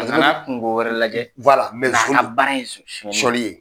A nana kungo wɛrɛ lajɛ , nga nson don. A ka baara ye suɲɛnni ye